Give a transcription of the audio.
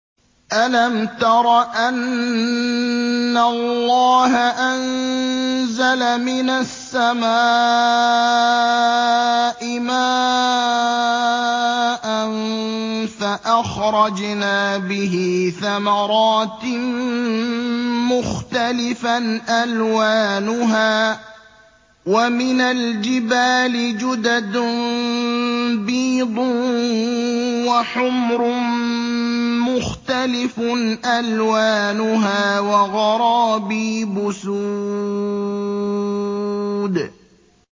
أَلَمْ تَرَ أَنَّ اللَّهَ أَنزَلَ مِنَ السَّمَاءِ مَاءً فَأَخْرَجْنَا بِهِ ثَمَرَاتٍ مُّخْتَلِفًا أَلْوَانُهَا ۚ وَمِنَ الْجِبَالِ جُدَدٌ بِيضٌ وَحُمْرٌ مُّخْتَلِفٌ أَلْوَانُهَا وَغَرَابِيبُ سُودٌ